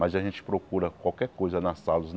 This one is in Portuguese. Mas a gente procura qualquer coisa nas salos não.